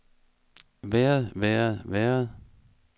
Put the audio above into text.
været været været